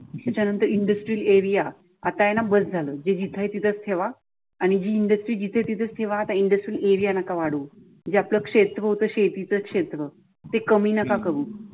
ज्याच्या नंतर इंदस्त्रीरियाल एरियाआता आहे न बस झालं जे जिथे आहे तिथेच ठेवा आणि हि इंदस्त्री जिथं आहे तिथ च ठेवा तेव्हा आता इंदस्त्रीरियाल एरिया नका वाढवू. जे आपल क्षेत्र होत शेतीच क्षेत्र ते कमी नका करून.